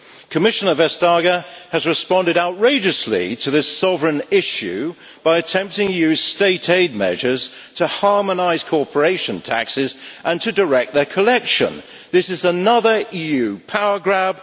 Commissioner Vestager has responded outrageously to this sovereign issue by attempting to use state aid measures to harmonise corporation taxes and to direct their collection. This is another EU power grab.